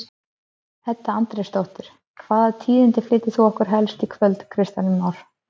Edda Andrésdóttir: Hvaða tíðindi flytur þú okkur helst í kvöld Kristján Már?